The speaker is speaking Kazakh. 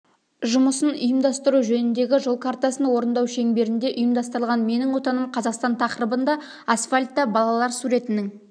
жұмысын ұйымдастыру жөніндегі жол картасын орындау шеңберінде ұйымдастырылған менің отаным қазақстан тақырыбына асфальтта балалар суретінің